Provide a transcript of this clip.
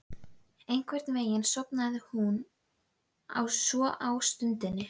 Einhvern veginn sofnaði hún svo á stundinni.